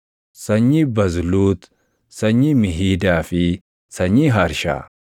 sanyii Bazluut, sanyii Mihiidaa fi sanyii Harshaa;